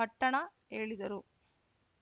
ಪಟ್ಟಣ ಹೇಳಿದರು